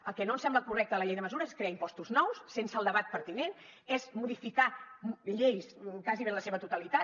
el que no ens sembla correcte a la llei de mesures és crear impostos nous sense el debat pertinent és modificar lleis gairebé en la seva totalitat